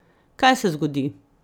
Kaj se zgodi?